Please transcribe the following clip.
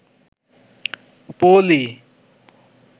পলি